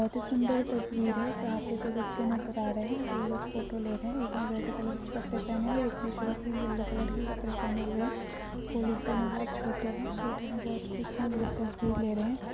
बोहत ही सुंदर तस्वीर है जहां पे दो बच्चे नजर आ रहे है वो लोग फोटो ले रहे है एक ने रेड कलर के कपड़े पहने हुए है एक ने थोड़ी-सी येल्लो कलर के कपड़े पहने हुए है वो लोग दोनों बहोत छोटे है वो दोनों बहोत खुश है वो लोग तस्वीर ले रहे है।